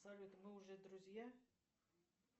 салют мы уже друзья